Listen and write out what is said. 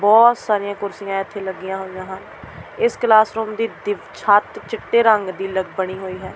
ਬਹੁਤ ਸਾਰੀਆਂ ਕੁਰਸੀਆਂ ਇਥੇ ਲੱਗੀਆਂ ਹੋਈਆਂ ਹਨ ਇਸ ਕਲਾਸ ਰੂਮ ਦੀ ਛੱਤ ਚਿੱਟੇ ਰੰਗ ਦੀ ਲੱਗ ਬਣੀ ਹੋਈ ਹੈ।